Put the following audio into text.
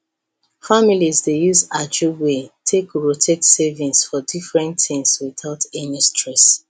families dey use ajo way take rotate savings for different things without any stress